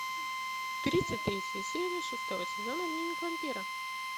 тридцать третья серия шестого сезона дневник вампира